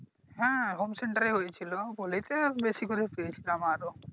হ্যাঁ Home center এ হয়েছিলো বলেই তো বেশি করে পেয়েছিলাম আরো